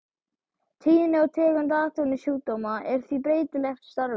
Tíðni og tegund atvinnusjúkdóma er því breytileg eftir starfi.